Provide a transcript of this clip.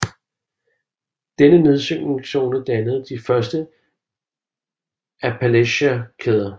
Denne nye nedsynkningszone dannede de første Appalacherkæder